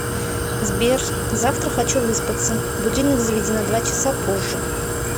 сбер завтра хочу выспаться будильник заведи на два часа позже